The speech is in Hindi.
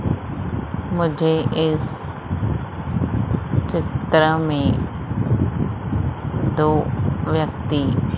मुझे इस चित्र में दो व्यक्ति--